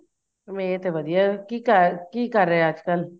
ਮੈਂ ਤੇ ਵਧੀਆ ਕੀ ਕਰ ਕੀ ਕਰ ਰਹੇ ਏ ਅੱਜਕਲ